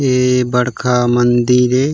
ये बड़का मंदिर ए।